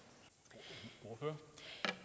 det